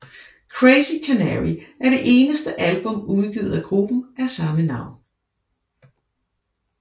Crazy Canary er det eneste album udgivet af gruppen af samme navn